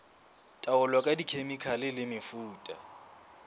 taolo ka dikhemikhale le mefuta